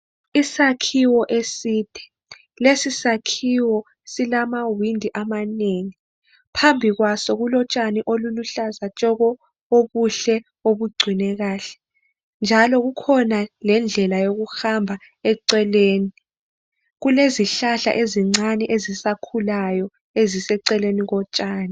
Isakhiwo eside, lesi sakhiwo silamawindi amanengi phambi kwaso kulotshani oluluhlaza tshoko, obuhle obugcinwe kahle njalo kukhona lendlela yokuhamba eceleni. Kulezihlahla ezincane ezisakhulayo eziseceleni kotshani.